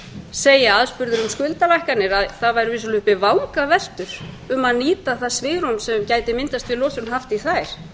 segja aðspurður um skuldalækkanir að það væru vissulega uppi vangaveltur um að nýta það svigrúm sem gæti myndast við losun hafta í þær